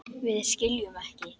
Við skiljum ekki.